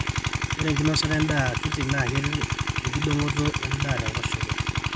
ore enkinosata endaa akiti naa keret enkidong'oto endaa tenkoshoke